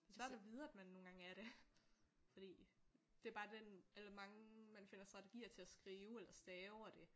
Det svært at vide man nogle gange er det fordi det er bare den eller mange man finder strategier til at skrive eller stave og det